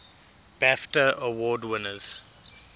bafta award winners